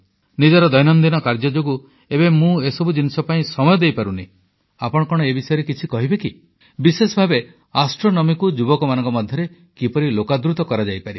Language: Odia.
ନିଜର ଦୈନନ୍ଦିନ କାର୍ଯ୍ୟ ଯୋଗୁଁ ଏବେ ମୁଁ ଏସବୁ ଜିନିଷ ପାଇଁ ସମୟ ଦେଇପାରୁନି ଆପଣ କଣ ଏ ବିଷୟରେ କିଛି କହିବେ କି ବିଶେଷ ଭାବେ ଜ୍ୟୋତିର୍ବିଜ୍ଞାନକୁ ଯୁବକମାନଙ୍କ ମଧ୍ୟରେ କିପରି ଲୋକାଦୃତ କରାଯାଇପାରିବ